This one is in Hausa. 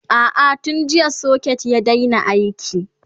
a'a tun jiya socket ya Daina aiki